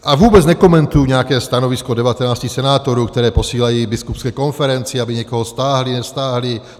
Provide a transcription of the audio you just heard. A vůbec nekomentuji nějaké stanovisko 19 senátorů, které posílají Biskupské konferenci, aby někoho stáhli, nestáhli.